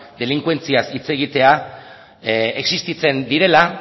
delinkuentziaz hitz egitea existitzen direla